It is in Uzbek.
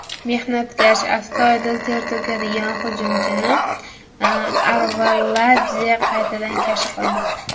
Mehnatkash, astoydil ter to‘kadigan hujumchini Arveladze qaytadan kashf qildi.